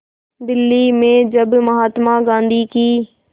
दिल्ली में जब महात्मा गांधी की